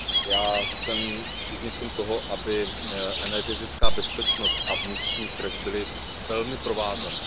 Já jsem příznivcem toho, aby energetická bezpečnost a vnitřní trh byly velmi provázané.